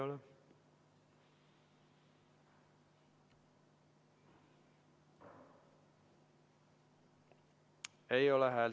Nüüd ei ole pilti ka.